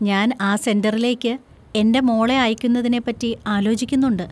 ഞാൻ ആ സെന്‍ററിലേക്ക് എൻ്റെ മോളെ അയക്കുന്നതിനെ പറ്റി ആലോചിക്കുന്നുണ്ട്.